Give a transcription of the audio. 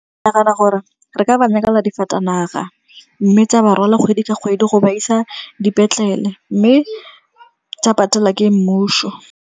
Ke nagana gore re ka ba nyakela difatanaga. Mme tsa ba rwala kgwedi ka kgwedi go ba isa dipetlele, mme tsa patela ke mmuso.